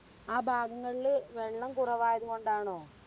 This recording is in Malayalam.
ആ ഭാഗങ്ങളില് വെള്ളം കുറവായതുകൊണ്ട് ആണോ?